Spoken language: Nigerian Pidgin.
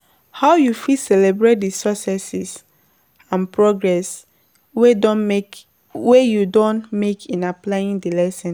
How you fit celebrate di successes and progress wey you don make in applying di lesson?